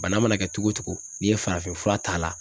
Bana mana kɛ cogo o cogo n'i ye farafinfura t'a la